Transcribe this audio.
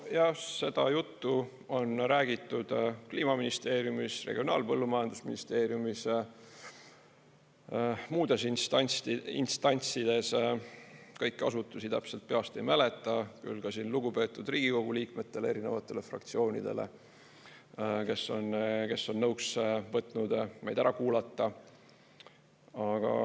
Jah, seda juttu on räägitud Kliimaministeeriumis, Regionaal- ja Põllumajandusministeeriumis ja muudes instantsides – kõiki asutusi täpselt peast ei mäleta –, ja ka lugupeetud Riigikogu liikmetele, erinevatele fraktsioonidele, kes on nõuks võtnud meid ära kuulata.